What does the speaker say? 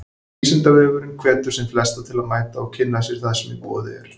Vísindavefurinn hvetur sem flesta til að mæta og kynna sér það sem í boði er.